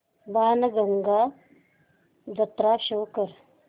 बाणगंगा जत्रा शो कर